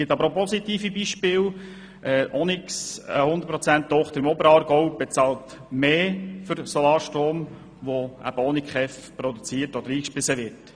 Es gibt aber auch positive Beispiele: Onyx, eine BKWTochter im Oberaargau, bezahlt mehr für den Solarstrom, der ohne KEV produziert und eingespeist wird.